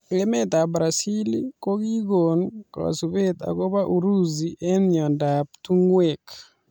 Emet ab brazil kokikon kasubet akobo urusi eng mnyendo ab tungwek.